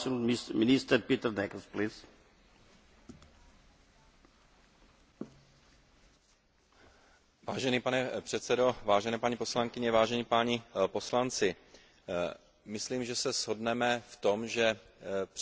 Vážený pane předsedo, vážené paní poslankyně, vážení páni poslanci, myslím, že se shodneme v tom, že přestože v uplynulých letech a desetiletích Evropa učinila obrovský krok v boji za